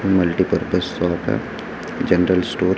multipurpose shop है general store --